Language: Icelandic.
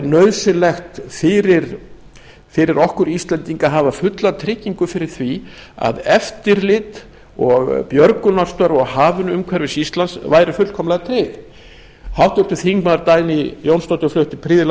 nauðsynlegt væri fyrir okkur íslendinga að hafa fulla tryggingu fyrir því að eftirlit og björgunarstörf á hafinu umhverfis ísland væru fullkomlega tryggð háttvirtir þingmenn dagný jónsdóttir flutti prýðilega ræðu